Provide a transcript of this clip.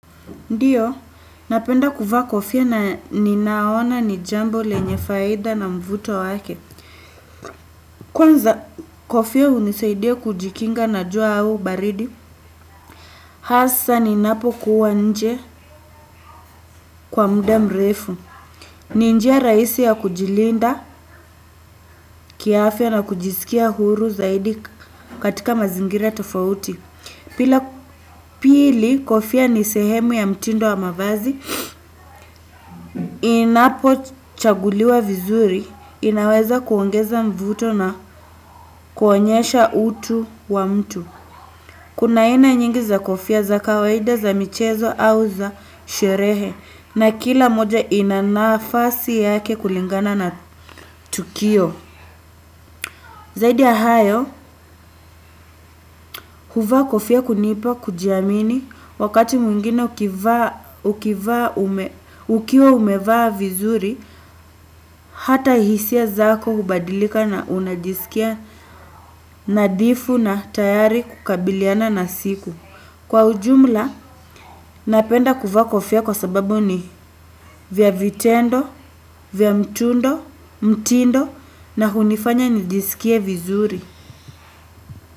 Ndiyo, napenda kuvaa kofia na ninaona ni jambo lenye faida na mvuto wake. Kwanza kofia hunisaidia kujikinga na jua au baridi. Hasa ninapo kuwa nje kwa muda mrefu. Ni njia rahisi ya kujilinda, kiafya na kujisikia huru zaidi katika mazingira tofauti. Pili kofia ni sehemu ya mtindo wa mavazi. Inapochaguliwa vizuri, inaweza kuongeza mvuto na kuonyesha utu wa mtu kuna aina nyingi za kofia za kawaida za michezo au za sherehe na kila moja inana nafasi yake kulingana na tukio zaidi ya hayo, kuvaa kofia hunipa kujiamini wakati mwingine ukiwa umevaa vizuri hata hisia zako hubadilika na unajisikia nadhifu na tayari kukabiliana na siku. Kwa ujumla, napenda kuvaa kofia kwa sababu ni vya vitendo, vya mtindo na hunifanya nijisikie vizuri.